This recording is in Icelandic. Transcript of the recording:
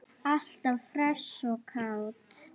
Alltaf hress og kát.